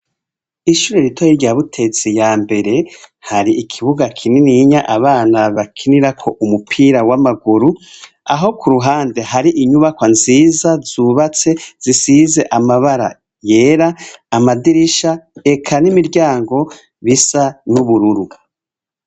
Ishure ritoyi rya Butezi ya mbere hari ikibuga kinininya abana bakinirako umupira w'amaguru, aho ku ruhande hari inyubakwa nziza zubatse zisize amabara yera, amadirisha eka n'imiryango bisa n'ubururu.